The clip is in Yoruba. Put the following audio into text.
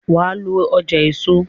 wá ló ọjà èso!